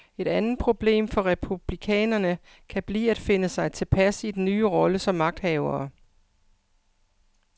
Et andet problem for republikanerne kan blive at finde sig tilpas i den nye rolle som magthavere.